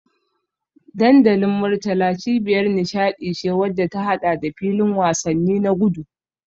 Dandalin Murtala cibiyar nishadi ce wadda ta hada da filin wasanni na gudu